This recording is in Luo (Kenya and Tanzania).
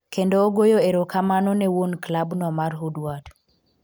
kendo ogoyo erokamano ne wuon klab no mar Woodward